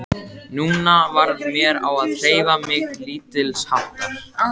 Nú varð mér á að hreyfa mig lítilsháttar.